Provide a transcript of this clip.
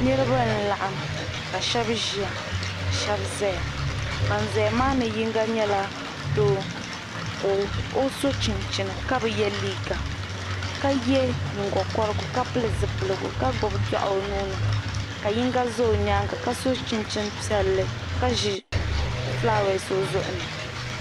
Niribi n laɣim ka shabi ʒaya ka shabiʒiya ban ʒiya maa ni yiŋga nyɛla doo ka ɔ sɔ chinchini ka bɛ ye liiga ka yɛ nyiŋgo korigu ka pili zi piligu. ka gbubi dɔɣi ɔ nuuni. yiŋga ʒɛ ɔ nyaaŋa ka sɔ chinchini piɛli. ka ʒi flawese ɔ zuɣu ni.